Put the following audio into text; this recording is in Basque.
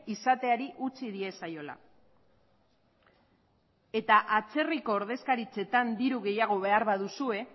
izateari utzi diezaiola atzerriko ordezkaritzetan diru gehiago behar baduzue